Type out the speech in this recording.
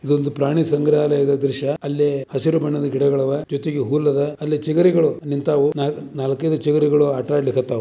ಇದೊಂದು ಪ್ರಾಣಿ ಸಂಗ್ರಹಾಲಯದ ದೃಶ್ಯ. ಅಲ್ಲಿ ಹಸಿರು ಬಣ್ಣದ ಗಿಡಗಲವೆ. ಜೊತೆಗೆ ಹುಲ್ಲದೆ ಅಲ್ಲಿ ಚಿಗರಿಗಳು ನಿಂತವ ನಾಲ್ಕೈದು ಚಿಗರಿಗಳು ಆಟ ಆಡ್ತಾಲಿಕತ್ತಾವ.